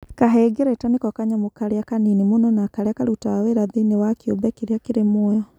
kahengereta nĩko kanyamũ karĩa kanini mũno na karĩa karutaga wĩra thĩi-niĩ wa kĩũmbe kĩrĩa kĩrĩ muoyo